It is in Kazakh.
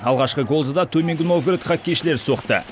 алғашқы голды да төменгі новгород хоккейшілері соқты